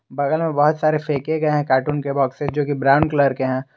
बगल में बहोत सारे फेके गए हैं कार्टून के बॉक्सेस जो की ब्राउन कलर के हैं।